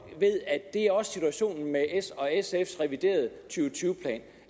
ved at det også er situationen med s og sfs reviderede og tyve plan